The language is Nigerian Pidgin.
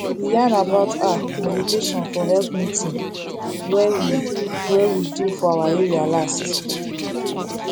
we yarn about ah meditation for health meeting wey we wey we do for our area last